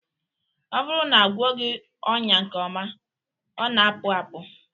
Ọ bụrụ na agwọghị ọnya nke ọma, ọ na-apụ apụ